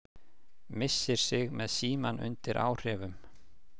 Missir sig með símann undir áhrifum